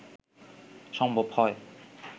সম্ভব হয়